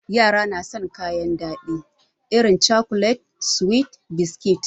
Yara na san kayan daɗi irin cakulet, suwi da biskit.